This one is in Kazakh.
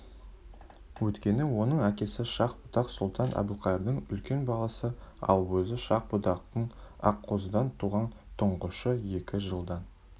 өйткені оның әкесі шах-будақ сұлтан әбілқайырдың үлкен баласы ал өзі шах-будақтың аққозыдан туған тұңғышы екі жылдан